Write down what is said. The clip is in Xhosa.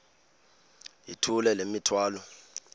yithula le mithwalo